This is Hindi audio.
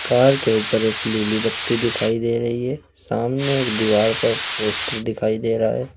कार के ऊपर एक नीली बत्ती दिखाई दे रही है सामने एक दीवार पर पोस्टर दिखाई दे रहा है।